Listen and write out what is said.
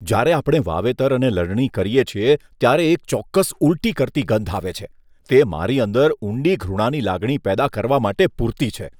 જ્યારે આપણે વાવેતર અને લણણી કરીએ છીએ ત્યારે એક ચોક્કસ ઊલટી કરતી ગંધ આવે છે, તે મારી અંદર ઊંડી ઘૃણાની લાગણી પેદા કરવા માટે પૂરતી છે.